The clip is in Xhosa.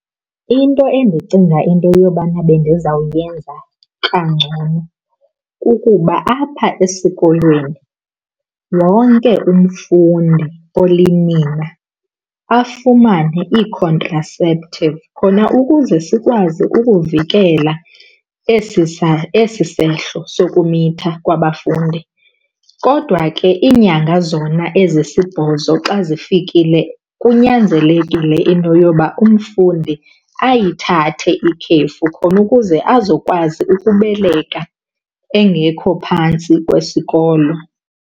Into endicinga into yobana bendizawuyenza kangcono kukuba apha esikolweni wonke umfundi olinina afumane ii-contraceptive khona ukuze sikwazi ukuvikela esi , esi sehlo sokumitha kwabafundi. Kodwa ke iinyanga zona ezisibhozo xa zifikile kunyanzelekile into yoba umfundi ayithathe ikhefu khona ukuze azokwazi ukubeleka engekho phantsi kwesikolo.